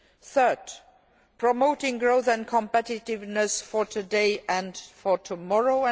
third, promoting growth and competitiveness for today and for tomorrow